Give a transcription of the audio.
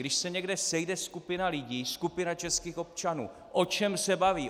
Když se někde sejde skupina lidí, skupina českých občanů, o čem se baví?